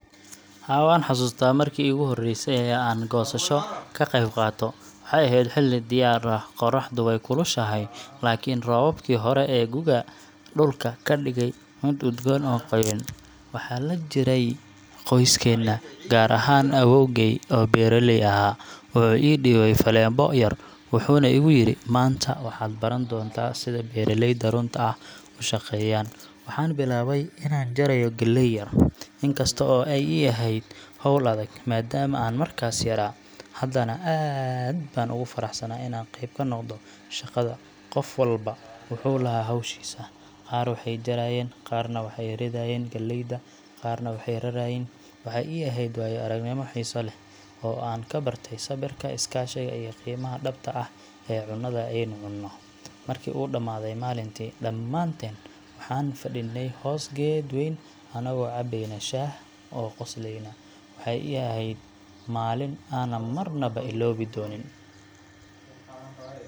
Haa, waan xasuustaa markii iigu horreysay ee aan goosasho ka qeyb qaato. Waxay ahayd xilli dayr ah, qorraxdu way kulushahay laakiin roobabkii hore ee gu’ga ayaa dhulka ka dhigay mid udgoon oo qoyan. Waxaan la jiray qoyskeena, gaar ahaan awoowgay oo beeraley ahaa. Wuxuu ii dhiibay faleebo yar wuxuuna igu yiri, Maanta waxaad baran doontaa sida beeraleyda runta ah u shaqeeyaan. Waxaan bilaabay inaan jarayo galley yar, in kasta oo ay ii ahayd hawl adag maadaama aan markaas yaraa, haddana aad baan ugu faraxsanaa inaan qayb ka noqdo shaqada. Qof walba wuxuu lahaa hawshiisa qaar waxay jarayeen, qaarna waxay ridayeen galleyda, qaarna waxay rarayeen. Waxaa ii ahayd waayo-aragnimo xiiso leh, oo aan ka bartay sabirka, iskaashiga, iyo qiimaha dhabta ah ee cunada aynu cunno. Markii uu dhamaaday maalintii, dhammaanteen waxaan fadhinay hoos geed weyn annagoo cabbayna shaah oo qoslayna. Waxay ahayd maalin aanan marnaba iloobi doonin.